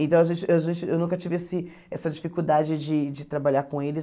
Então, a gente a gente eu nunca tive esse essa dificuldade de de trabalhar com eles.